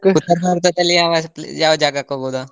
ಉತ್ತರಭಾರತದಲ್ಲಿ ಯಾವ ಯಾವ ಜಾಗಕ್ಕೆ ಹೋಗ್ಬೋದು?